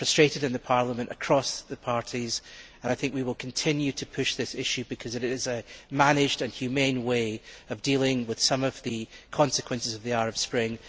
We are frustrated in Parliament across the parties, and I think we will continue to push this issue, because it is a managed and humane way of dealing with some of the consequences of the Arab Spring.